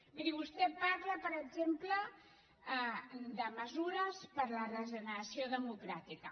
miri vostè parla per exemple de mesures per la regeneració democràtica